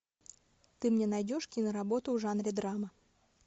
ты мне найдешь киноработу в жанре драма